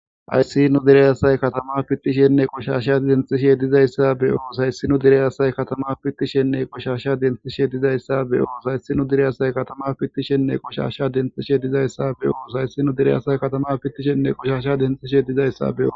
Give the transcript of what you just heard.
H1ayssi nu derey asay katama fittishenne qoshasha denxishe dizayssa be7os hayssinu derey asay katama pittishenne qoshasha denxishe dizayssa be7os hayssi nu derey asay katama pittishenne qoshasha denxishe dizayssa be7os hayssi nu derey asay katama pittishenne qushasha denxishe dizayssa be7os.